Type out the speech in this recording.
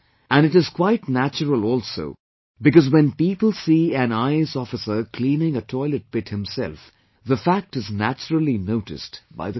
And it is quite natural also because when people see an IAS officer cleaning a toilet pit himself, the fact is naturally noticed by the country